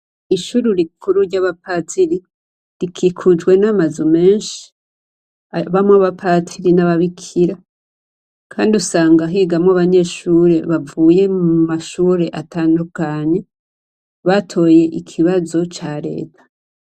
Ishure rikuru ry'abapatiri rikikujwe n'amazu menshi ayabamwo abapatiri n'ababikira. Kandi usanga higamwo abanyeshure bavuye mu mashure atandukanye batoye ikibazo ca Leta.